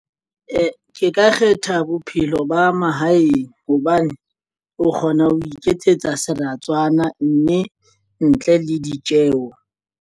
Ee, ke ka kgetha bophelo ba mahaeng hobane o kgona ho iketsetsa seratswana mme ntle le ditjeo.